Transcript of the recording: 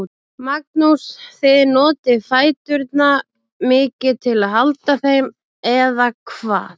Magnús: Þið notið fæturna mikið til að halda þeim, eða hvað?